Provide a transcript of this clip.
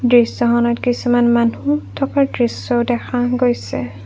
দৃশ্যখনত কিছুমান মানুহ থকাৰ দৃশ্য দেখা গৈছে।